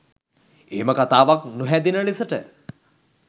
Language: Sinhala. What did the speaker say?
එහෙම කතාවක් නොහැදෙන ලෙසට